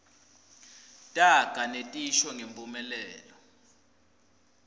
taga netisho ngemphumelelo